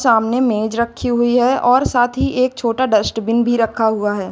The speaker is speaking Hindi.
सामने मेज रखी हुई है और साथ ही एक छोटा डस्टबिन भी रखा हुआ है।